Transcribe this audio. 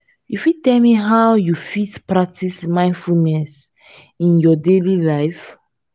you fit tell me how you fit practice mindfulness in your daily life?